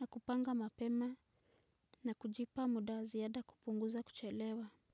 na kupanga mapema na kujipa muda wa ziada kupunguza kuchelewa.